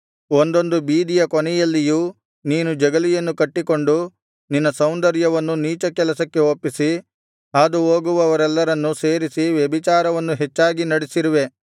ಒಂದೊಂದು ಬೀದಿಯ ಕೊನೆಯಲ್ಲಿಯೂ ನೀನು ಜಗಲಿಯನ್ನು ಕಟ್ಟಿಕೊಂಡು ನಿನ್ನ ಸೌಂದರ್ಯವನ್ನು ನೀಚ ಕೆಲಸಕ್ಕೆ ಒಪ್ಪಿಸಿ ಹಾದುಹೋಗುವವರೆಲ್ಲರನ್ನು ಸೇರಿಸಿ ವ್ಯಭಿಚಾರವನ್ನು ಹೆಚ್ಚಾಗಿ ನಡೆಸಿರುವೆ